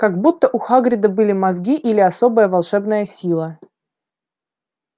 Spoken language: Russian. как будто у хагрида были мозги или особая волшебная сила